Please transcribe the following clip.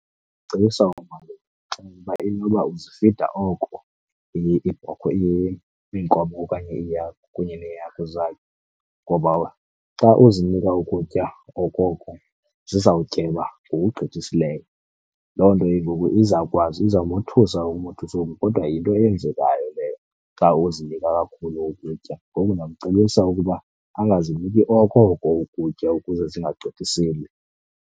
Ndicebisa umalume, ndimxelele uba inoba uzifida oko iibhokhwe, iinkomo okanye iihagu kunye neehagu zakhe. Ngoba xa uzinika ukutya okoko zizawutyeba ngokugqithisileyo. Loo nto ke ngoku izawukwazi, izawumothusa umothusa oku kodwa yinto eyenzekayo leyo xa uzinika kakhulu ukutya. Ngoku ndingamcebisa ukuba angaziniki okoko ukutya ukuze zingagqithiseli.